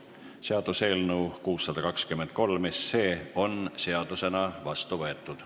Seaduseelnõu 623 on seadusena vastu võetud.